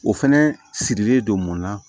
O fɛnɛ sirilen don mun na